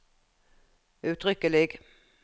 uttrykkelig